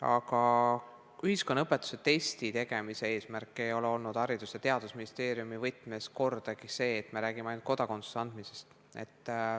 Aga ühiskonnaõpetuse testi tegemise eesmärk ei ole olnud Haridus- ja Teadusministeeriumi võtmes kordagi see, et me räägime ainult kodakondsuse andmisest.